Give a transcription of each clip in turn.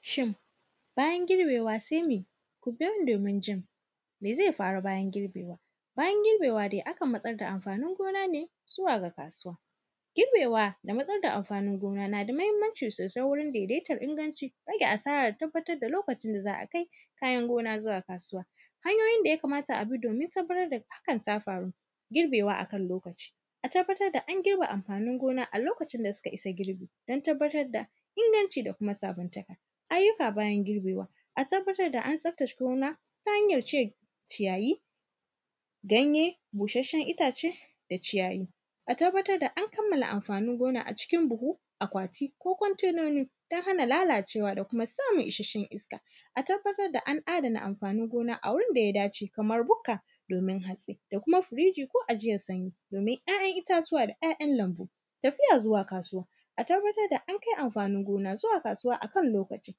Shin, bayan girbewa se me? Ku biyo ni domin jin me ze faru bayan girbewa. Bayan girbewa de, akan matsar da amfanin gona ne zuwa ga kasuwa. Girbewa da matsar da amfanin gona, na da mahimmanci sosai wurin dedetar inganci, rage asara da tabbatad da lokacin da za a kai kayan gona zuwa kasuwa. Hanyoyin da ya kamata a bi domin tabbatad da hakan ta faru, girbewa a kan lokaci, a tabbatar da an girbe amfanin gona a lokacin da suka isa girbi, don tabbatar da inganci da kuma sabuntaka. Ayyuka bayan girbewa, a tabbatar da an tsaftace gona, ta hanyar cire ciyayi, ganye, bushasshen itace da ciyayi. A tabbatar da an kamala amfanin gona a cikin buhu, akwati ko kwantenoni don hana lalacewa da kuma samun isassshen iska. A tabbatar da an adana amfanin gona a wurin da ya dace, kamar bukka, domin hatsi. Da kuma firiji ko ajiyan sanyi, domin ‘ya’yan itatuwa da ‘ya’yan lambu. Tafiya zuwa kasuwa, a tabbatar da an kai amfani gona zuwa kasuwa a kan lokaci.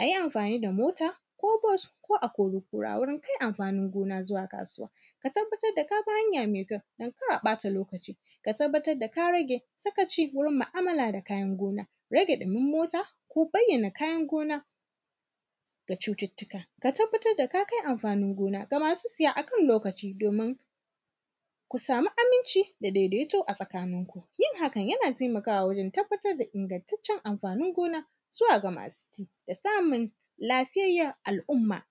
A yi amfani da mota ko bos ko a-kori-kura wurin kai amfanin gona zuwa kasuwa. Ka tabbatar da ka bi hanya me kyau, don kar a ƃata lokaci, ka tabbatar da ka rage sakaci wurin ma’amala da kayan gona, rage ɗumin mota, ko bayyana kayan gona ga cututtuka. Ka tabbatad da ka kai amfanin gona ga masu siya a kan lokaci, domin ka sami aminci da dedeto a tsakaninku. Yin hakan, yana temakawa wurin tabbatar da inagantaccen amfanin gona zuwa ga masu ci da samun lafiyayyen al’umma.